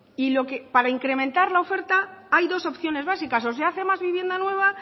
y para incrementar la oferta hay dos opciones básicas o se hace más vivienda nueva